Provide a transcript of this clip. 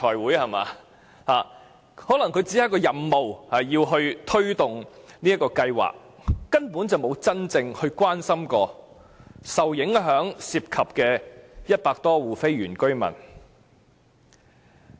官員可能只是有任務要推動這項計劃，根本沒真正關心受影響的100多戶非原居民。